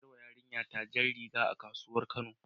Na saƴawa yarinƴa ta jan rigan sanƴi a kasuwar kano.